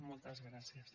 moltes gràcies